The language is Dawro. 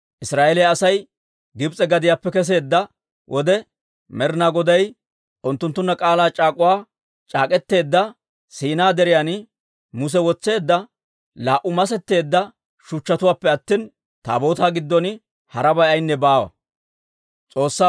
Israa'eeliyaa Asay Gibs'e gadiyaappe kesseedda wode, Med'inaa Goday unttunttunna k'aalaa c'aak'uwaa c'aak'k'eteedda Siinaa Deriyan Muse wotseedda laa"u masetteedda shuchchatuwaappe attina, Taabootaa giddon harabay ayaynne baawa.